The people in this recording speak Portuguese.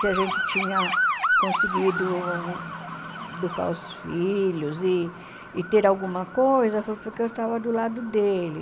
Se a gente tinha conseguido educar os filhos e e ter alguma coisa, foi porque eu estava do lado dele.